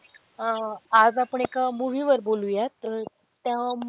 अह आज आपण एका movie वर बोलूयात तर त्या,